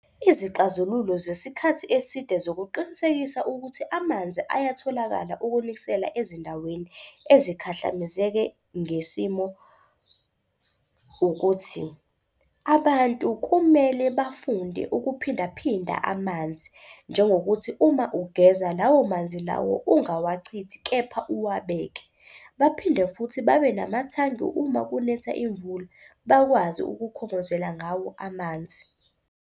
Izixazululo zesikhathi eside zokuqinisekisa ukuthi amanzi ayatholakala ukunikisela ezindaweni ezikhahlamezeke ngesimo, ukuthi abantu kumele bafunde ukuphindaphinda amanzi, njengokuthi uma ugeza lawo manzi lawo ungawachithi kepha uwabeke. Baphinde futhi babe namathangi uma kunetha imvula bakwazi ukukhongozela ngawo amanzi.